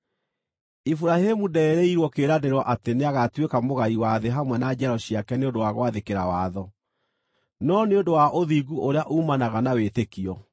Iburahĩmu ndeerĩirwo kĩĩranĩro atĩ nĩagatuĩka mũgai wa thĩ hamwe na njiaro ciake nĩ ũndũ wa gwathĩkĩra watho, no nĩ ũndũ wa ũthingu ũrĩa uumanaga na wĩtĩkio.